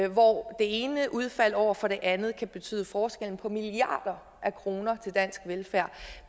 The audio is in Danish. hvor det ene udfald over for det andet kan betyde forskellen på milliarder af kroner til dansk velfærd